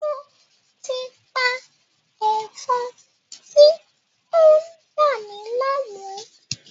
Mo ti pa Ẹ̀fọn ti o n dami láàmú